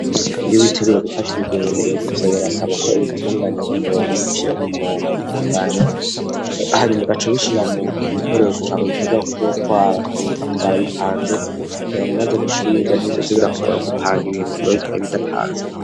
iyo witegure gufata irugendo ibintu vyobirasaba ko ibitunganya ku murongo ukabishira kumurongo ukabitunganya hama ugaca ubishira mugikoresho cawe uteganya kuzotwara kabitwara bipanze kugirango maze gushika iyuja ntibizoze birakugora gupanga ibintu wabitwaye bidapanze.